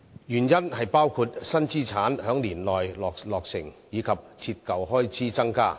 原因包括新資產在年內落成，以及折舊開支增加。